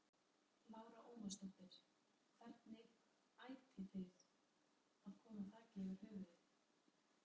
Lára Ómarsdóttir: Hvernig ætið þið að koma þaki yfir höfuðið?